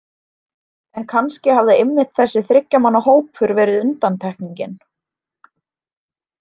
En kannski hafði einmitt þessi þriggja manna hópur verið undantekningin.